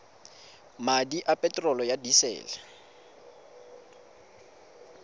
madi a peterolo ya disele